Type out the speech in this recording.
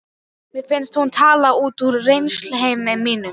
Mér fannst hún tala út úr reynsluheimi mínum.